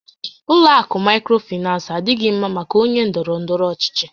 Ụlọ akụ Maịkrofinans adịghị ḿmá maka ónyé ndọrọ ndọrọ ọchịchị